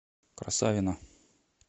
красавино